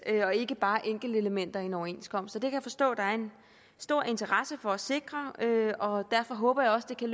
og ikke bare enkeltelementer i en overenskomst det kan jeg forstå at der er en stor interesse for at sikre og derfor håber jeg også det kan